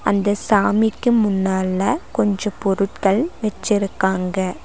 அந்த சாமிக்கு முன்னால கொஞ்சோ பொருட்கள் வெச்சிருக்காங்க.